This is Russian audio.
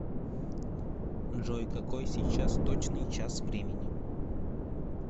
джой какой сейчас точный час времени